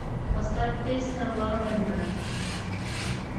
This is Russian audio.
поставь песня ла венда